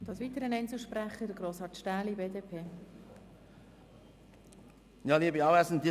Es tut mir leid, dass ich noch als Einzelsprecher antreten muss.